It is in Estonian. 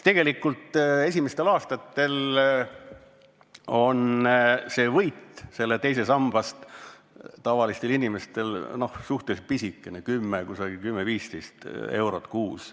Tegelikult esimestel aastatel on see võit teisest sambast tavalistel inimestel suhteliselt pisikene – 10 eurot, kusagil 10–15 eurot kuus.